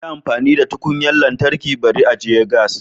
Yi amfani da tukunyar lantarki bari ajiye gas